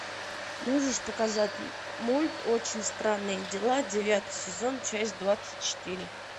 можешь показать мульт очень странные дела девятый сезон часть двадцать четыре